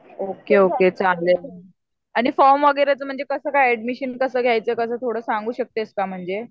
Okay okay चालेल. आणि form वगैरेचं कसं काय ऍडमिशन कसं घ्यायचं? थोडं सांगू शकतेस का म्हणजे?